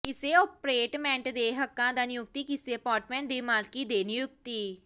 ਕਿਸੇ ਅਪਾਰਟਮੈਂਟ ਦੇ ਹੱਕਾਂ ਦਾ ਨਿਯੁਕਤੀ ਕਿਸੇ ਅਪਾਰਟਮੈਂਟ ਦੇ ਮਾਲਕੀ ਦੇ ਨਿਯੁਕਤੀ